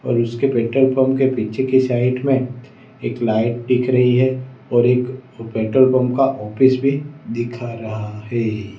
और उसके petrol pump के पीछे की साइड में एक लाइट दिख रही है और एक पेट्रोल पंप का ऑफिस भी दिखा रहा है।